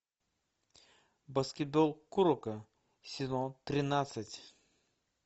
баскетбол куроко сезон тринадцать